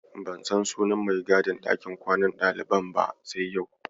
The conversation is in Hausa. Ban san sunan mai gadin ɗakin kwanan ɗaliban ba sai yau.